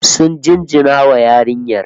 Sun jinjina wa yarinyar